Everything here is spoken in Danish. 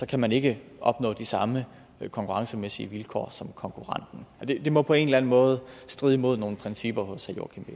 kan man ikke opnå de samme konkurrencemæssige vilkår som konkurrenten det må på en eller anden måde stride mod nogle principper hos herre joachim